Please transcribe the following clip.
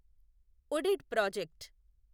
UDID project